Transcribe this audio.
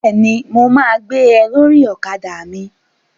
Bẹ́ẹ̀ni, mo ma gbé ẹ lórí ọ̀kadà mi